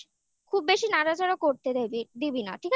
খুব বেশি নাড়াচাড়া করতে দেবে দিবি না